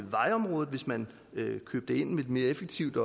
vejområdet hvis man købte mere effektivt